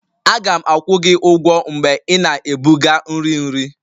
Aga m akwụ gị ụgwọ mgbe ị na-ebuga nri nri